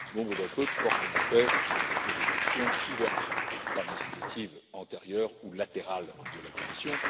Nombre d'entre eux portent en effet sur des questions couvertes par des initiatives antérieures ou latérales de la Commission.